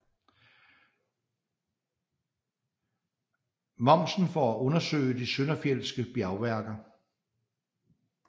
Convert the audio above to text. Momsen for at undersøge de søndenfjeldske bjergværker